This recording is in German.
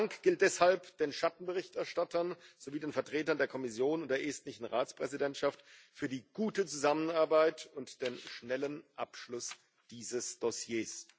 Mein Dank gilt deshalb den Schattenberichterstattern sowie den Vertretern der Kommission und der estnischen Ratspräsidentschaft für die gute Zusammenarbeit und den schnellen Abschluss dieses Dossiers.